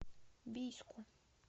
бийску